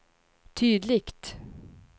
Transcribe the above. tydligt